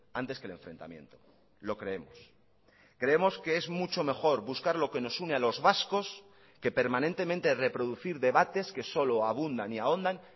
antes que el enfrentamiento lo creemos creemos que es mucho mejor buscar lo que nos une a los vascos que permanentemente reproducir debates que solo abundan y ahondan